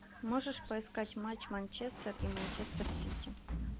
можешь поискать матч манчестер и манчестер сити